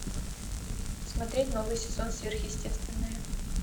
смотреть новый сезон сверхъестественное